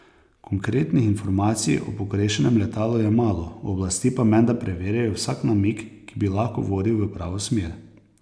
Konkretnih informacij o pogrešanem letalu je malo, oblasti pa menda preverjajo vsak namig, ki bi lahko vodil v pravo smer.